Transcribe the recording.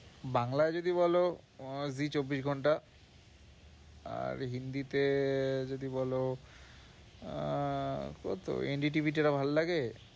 বাংলায় যদি বলো আহ জি চব্বিশ ঘন্টা আর হিন্দিতে যদি বলো আহ কত NDTV টা ভালো লাগে।